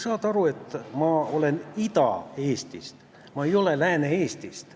Sa ju saad aru, et ma olen Ida-Eestist, ma ei ole Lääne-Eestist.